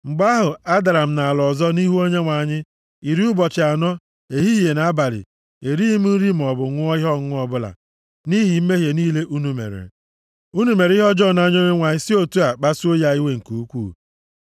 Mgbe ahụ, adara m nʼala ọzọ nʼihu Onyenwe anyị. Iri ụbọchị anọ, ehihie na abalị, erighị m nri maọbụ ṅụọ ihe ọṅụṅụ ọbụla, nʼihi mmehie niile unu mere. Unu mere ihe ọjọọ nʼanya Onyenwe anyị si otu a kpasuo ya iwe nke ukwuu.